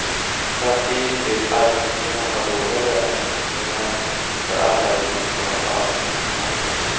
Samtidigt vill arbetsgivarna ha låga löneökningar för alla i de centrala avtalen.